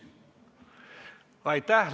Aitäh!